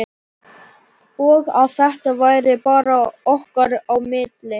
Og að þetta væri bara okkar á milli.